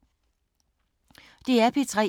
DR P3